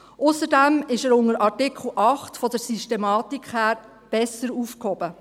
Ausserdem ist er unter Artikel 8 von der Systematik her besser aufgehoben.